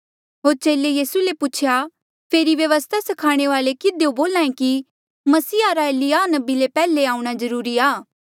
होर चेले यीसू ले पूछेया फेरी व्यवस्था स्खाणे वाल्ऐ किधियो बोल्हा ऐें कि मसीहा रा एलिय्याह नबी ले पैहले आऊंणा जरूरी आ